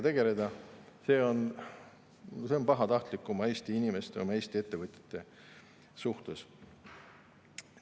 selline on pahatahtlik oma inimeste ja Eesti ettevõtjate suhtes.